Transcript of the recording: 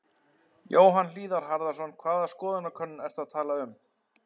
Jóhann Hlíðar Harðarson: Hvaða skoðanakönnun ertu að tala um?